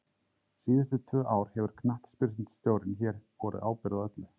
Síðustu tvö ár hefur knattspyrnustjórinn hér borið ábyrgð á öllu.